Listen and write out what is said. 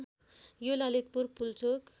यो ललितपुर पुल्चोक